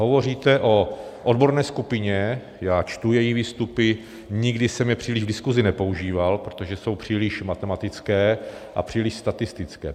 Hovoříte o odborné skupině, já čtu její výstupy, nikdy jsem je příliš v diskuzi nepoužíval, protože jsou příliš matematické a příliš statistické.